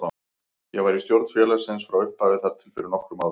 Ég var í stjórn félagsins frá upphafi þar til fyrir nokkrum árum.